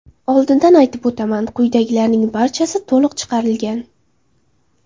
Oldindan aytib o‘taman, quyidagilarning barchasi to‘qib chiqarilgan.